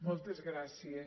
moltes gràcies